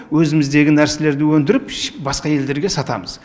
өзіміздегі нәрселерді өндіріп басқа елдерге сатамыз